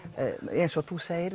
eins og þú segir